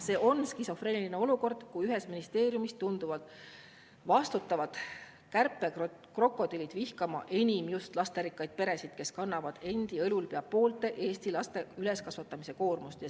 See on skisofreeniline olukord, kui ühes ministeeriumis tunduvad vastutavad kärpekrokodillid vihkavat enim just lasterikkaid peresid, kes kannavad endi õlul pea poolte Eesti laste üleskasvatamise koormust.